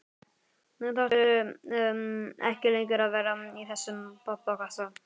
Nú þarftu ekki lengur að vera í þessum pappakassa.